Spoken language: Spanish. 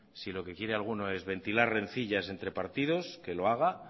si lo que quiere alguno es ventilar rencillas entre partidos que lo haga